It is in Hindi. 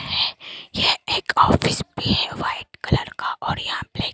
है ये एक ऑफिस भी है व्हाइट कलर का और यहां पे--